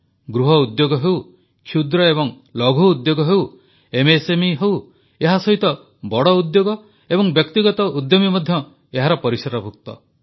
ଗୃହ ଉଦ୍ୟୋଗ ହେଉ କ୍ଷୁଦ୍ର ଏବଂ ଲଘୁ ଉଦ୍ୟୋଗ ହେଉ ଏମଏସଏମଇ ହେଉ ଏହାସହିତ ବଡ଼ ଉଦ୍ୟୋଗ ଏବଂ ବ୍ୟକ୍ତିଗତ ଉଦ୍ୟମୀ ମଧ୍ୟ ଏହାର ପରିସରଭୁକ୍ତ